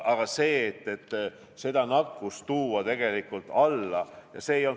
Aga selleks, et tuua neid nakatumisnäitajaid alla, otsustati nii.